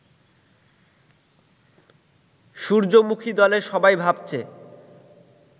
সূর্যমুখী-দলের সবাই ভাবছে